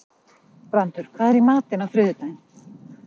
Brandur, hvað er í matinn á þriðjudaginn?